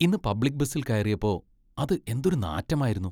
ഇന്ന് പബ്ലിക് ബസിൽ കയറിയപ്പോ അത് എന്തൊരു നാറ്റമായിരുന്നു.